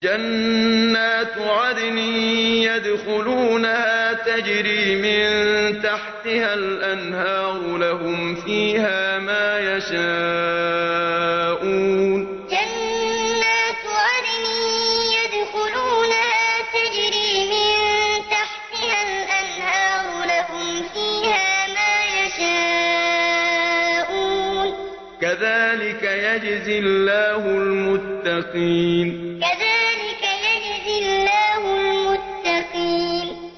جَنَّاتُ عَدْنٍ يَدْخُلُونَهَا تَجْرِي مِن تَحْتِهَا الْأَنْهَارُ ۖ لَهُمْ فِيهَا مَا يَشَاءُونَ ۚ كَذَٰلِكَ يَجْزِي اللَّهُ الْمُتَّقِينَ جَنَّاتُ عَدْنٍ يَدْخُلُونَهَا تَجْرِي مِن تَحْتِهَا الْأَنْهَارُ ۖ لَهُمْ فِيهَا مَا يَشَاءُونَ ۚ كَذَٰلِكَ يَجْزِي اللَّهُ الْمُتَّقِينَ